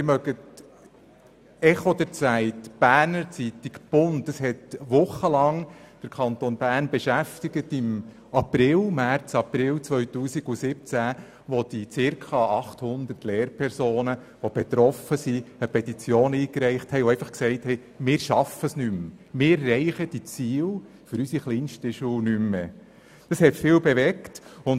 Im «Echo der Zeit», in der «Berner Zeitung» und im «Bund» wurde während Wochen im März/April 2017 über dieses Thema berichtet, als ca. 800 betroffene Lehrpersonen eine Petition einreichten und sagten, sie würden es nicht mehr schaffen und die Ziele mit den kleinsten Schülerinnen und Schülern nicht mehr erreichen.